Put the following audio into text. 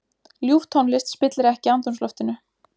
Ljúf tónlist spillir ekki andrúmsloftinu.